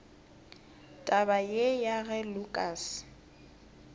taba ye ya ge lukas